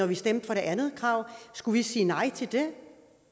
vi stemte for det andet krav skulle vi sige nej til det